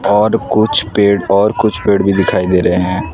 और कुछ पेड़ और कुछ पेड़ भी दिखाई दे रहे हैं।